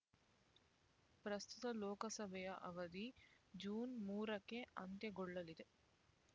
ಪ್ರಸ್ತುತ ಲೋಕಸಭೆಯ ಅವಧಿ ಜೂನ್ ಮೂರಕ್ಕೆ ಅಂತ್ಯಗೊಳ್ಳಲಿದೆ